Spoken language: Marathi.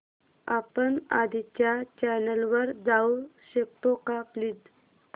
आपण आधीच्या चॅनल वर जाऊ शकतो का प्लीज